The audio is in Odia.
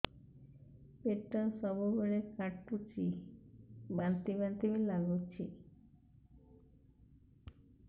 ପେଟ ସବୁବେଳେ କାଟୁଚି ବାନ୍ତି ବାନ୍ତି ବି ଲାଗୁଛି